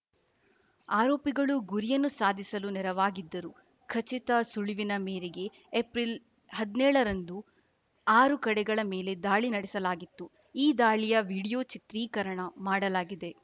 ಆರೋಪಿಗಳು ಗುರಿಯನ್ನು ಸಾಧಿಸಲು ನೆರವಾಗಿದ್ದರು ಖಚಿತ ಸುಳಿವಿನ ಮೇರೆಗೆ ಏಪ್ರಿಲ್ ಹದ್ನೇಳರಂದು ಆರು ಕಡೆಗಳ ಮೇಲೆ ದಾಳಿ ನಡೆಸಲಾಗಿತ್ತು ಈ ದಾಳಿಯ ವಿಡಿಯೋ ಚಿತ್ರೀಕರಣ ಮಾಡಲಾಗಿದೆ